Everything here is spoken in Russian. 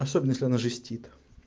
особенно если она жестит